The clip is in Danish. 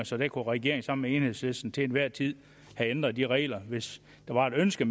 så der kunne regeringen sammen med enhedslisten til enhver tid have ændret de regler hvis der var et ønske